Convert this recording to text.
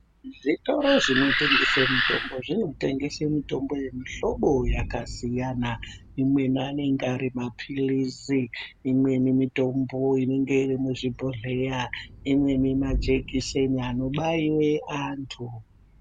Zvitoro zvinotengese mitombo zvinotengese mitombo yemihlobo yakasiyana. Imweni anenge ari maphilizi, imweni mitombo inenge iri muzvibhohleya, imweni majekiseni anobaiwe antu.